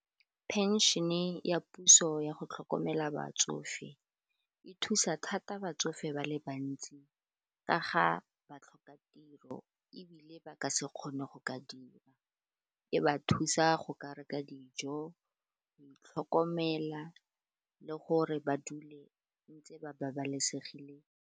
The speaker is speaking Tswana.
Penšhene ya puso ya go tlhokomela batsofe e thusa thata batsofe ba le bantsi ka ga batlhokatiro ebile ba ka se kgone go ka dira e ba thusa go ka reka dijo go itlhokomela le gore ba dule ntse ba babalesegileng.